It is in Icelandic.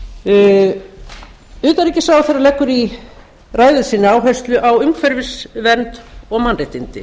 hentistefna utanríkisráðherra leggur í ræðu sinni áherslu á umhverfisvernd og mannréttindi